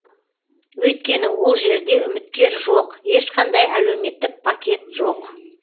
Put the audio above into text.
өйткені ол жерде үміткер жоқ ешқандай әлеуметтік пакет жоқ